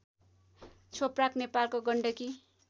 छोप्राक नेपालको गण्डकी